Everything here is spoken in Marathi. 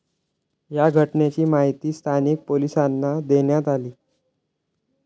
या घटनेची माहिती स्थानिक पोलिसांना देण्यात आली.